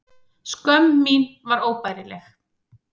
Skömm mín var óbærileg.